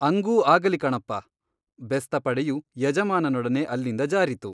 ಅಂಗೂ ಆಗಲಿ ಕಣಪ್ಪ ಬೆಸ್ತಪಡೆಯು ಯಜಮಾನನೊಡನೆ ಅಲ್ಲಿಂದ ಜಾರಿತು.